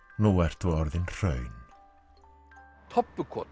nú ertu orðin hraun